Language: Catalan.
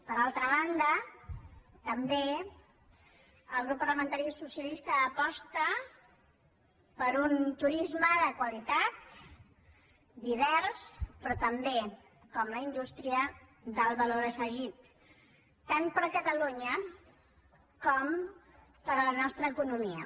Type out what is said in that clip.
per altra banda també el grup parlamentari socialista aposta per un turisme de qualitat divers però també com la indústria d’alt valor afegit tant per catalunya com per la nostra economia